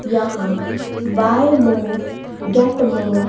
यहां buy more get more --